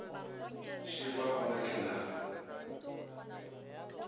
šefa o re ke na